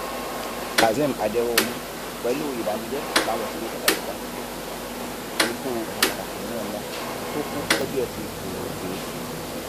kazeem aderohunmu pẹlú ìbànújẹ làwọn òṣèré tiata yorùbá fi kéde ikú ọkàn pàtàkì nínú wọn tó kú lọjọ etí furuufee